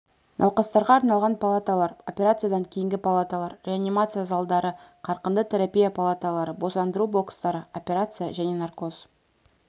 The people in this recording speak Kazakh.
науқастарға арналған палаталар операциядан кейінгі палаталар реанимация залдары қарқынды терапия палаталары босандыру бокстары операция және наркоз